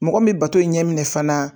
Mɔgɔ min bato ɲɛ minɛ fana